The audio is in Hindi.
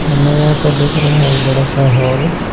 हमें यहाँ पर दिख रहा है एक बड़ा सा हॉल --